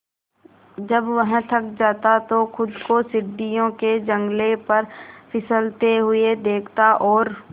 जब वह थक जाता तो खुद को सीढ़ियों के जंगले पर फिसलते हुए देखता और